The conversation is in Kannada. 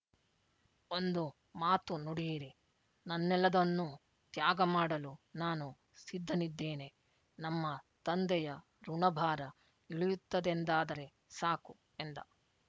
ಒಂದು ಮಾತು ನುಡಿಯಿರಿ ನನ್ನೆಲ್ಲದನ್ನೂ ತ್ಯಾಗಮಾಡಲು ನಾನು ಸಿದ್ಧನಿದ್ದೇನೆ ನಮ್ಮ ತಂದೆಯ ಋಣಭಾರ ಇಳಿಯುತ್ತದೆಂದಾದರೆ ಸಾಕು ಎಂದ